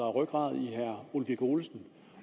rygrad i herre ole birk olesen